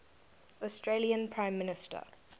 australian prime minister